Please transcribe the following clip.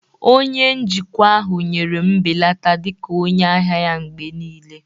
Onye njikwa ahụ nyere m mbelata dị ka onye ahịa mgbe niile